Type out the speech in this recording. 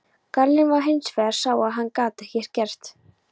Gallinn var hinsvegar sá að hann gat ekkert greitt.